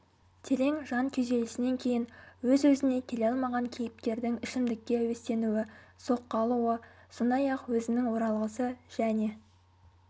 терең жан күйзелісінен кейін өз-өзіне келе алмаған кейіпкердің ішімдікке әуестенуі соққы алуы сондай-ақ өзінің оралғысы және